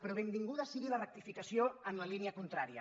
però benvinguda sigui la rectificació en la línia contrària